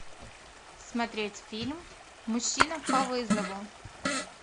смотреть фильм мужчина по вызову